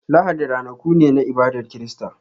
Lahadi ranaku ne na ibadar Kirista.